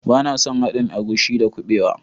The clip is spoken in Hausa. Bana son haɗin agushi da kubewa